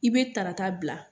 I be tarata bila